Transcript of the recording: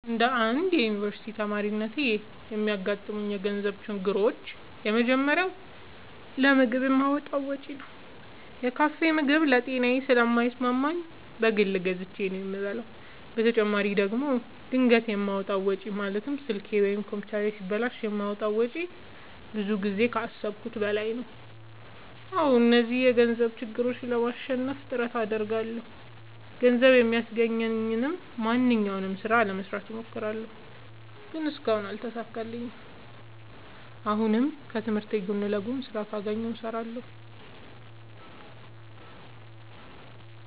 እንደ አንድ ዮኒቨርስቲ ተማሪነቴ የሚያጋጥሙኝ የገንዘብ ችግሮች የመጀመሪያው ለምግብ የማወጣው ወጪ ነው። የካፌ ምግብ ለጤናዬ ስለማይስማማኝ በግል ገዝቼ ነው የምበላው በተጨማሪ ደግሞ ድንገት የማወጣው ወጪ ማለትም ስልኬ ወይም ኮምፒውተሬ ሲበላሽ የማወጣው ወጪ ብዙ ጊዜ ከአሠብኩት በላይ ነው። አዎ እነዚህን የገንዘብ ችግሮች ለማሸነፍ ጥረት አደርጋለሁ። ገንዘብ የሚያስገኘኝን ማንኛውንም ስራ ለመስራት እሞክራለሁ። ግን እስካሁን አልተሳካልኝም። አሁንም ከትምህርቴ ጎን ለጎን ስራ ካገኘሁ እሠራለሁ።